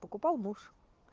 покупал муж